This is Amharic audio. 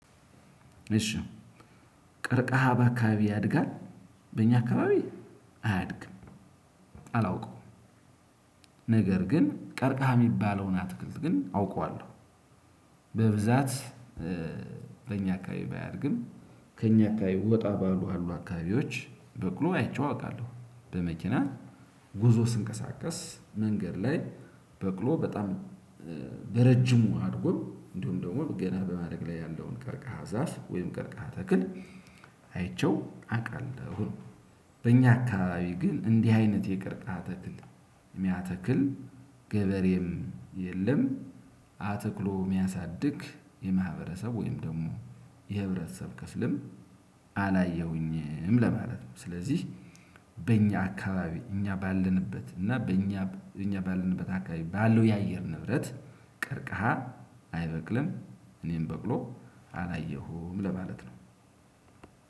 እሺ። ቀርቃሃ በአካባቢ ያድጋል በእኛ አካባቢ አያድግም። አላውቅም። ነገር ግን ቀርቀሃ የሚባለውን አትክልት ግን አውቀዋለሁ። በብዛት በእኛ አካባቢ ባያደርግም ከእኛ አካባቢ ወጣ ባሉ አሉ አካባቢዎች በቅሎ አይቼው አውቃለሁ። በመኪና ጉዞ ስንቀሳቀስ መንገድ ላይ በቅሎ በጣም በረጅሙ አድጎ እንዲሁም ደግሞ ገና በማደግ ላይ ያለውን ቀርቃሃ ዛፍ ወይም ቀርቃ ተክል። አይቼው አውቃለሁ። በእኛ አካባቢ ግን እንዲህ አይነት የቀርቃ ተክል የሚያተክል ገበሬም የለም። አተክሎ የሚያሳድግ የማህበረሰብ ወይም ደግሞ የህብረተሰብ ክፍልም አላየሁኝም ለማለት ነው። ስለዚህ በእኛ አካባቢ እኛ ባለንበት እና በእኛ እኛ ባለንበት አካባቢ ባለው የአየር ንብረት ቀርቀሃ አይበቅልም። እኔም በቅሎ አላየሁም ለማለት ነው።